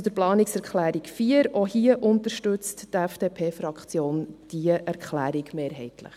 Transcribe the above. Zur Planungserklärung 4: Auch hier unterstützt die FDP-Fraktion diese Erklärung mehrheitlich.